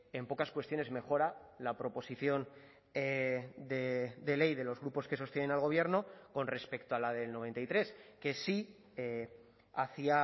en pocas cuestiones mejora la proposición de ley de los grupos que sostienen al gobierno con respecto a la del noventa y tres que sí hacía